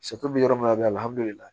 bɛ yɔrɔ min na bi alihamudulilayi